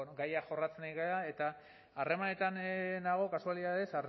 gaia jorratzen ari gara eta harremanetan nago kasualitatez